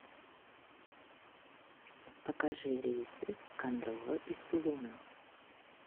покажи рейсы в кондрово из тулуна